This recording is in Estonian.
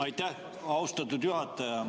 Aitäh, austatud juhataja!